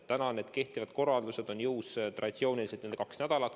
Praegu kehtivad korraldused on jõus traditsiooniliselt kaks nädalat.